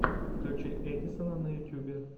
включи эдисона на ютюбе